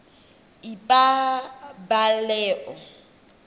ipabaleo